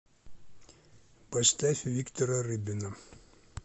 поставь виктора рыбина